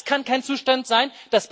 Das kann kein Zustand sein.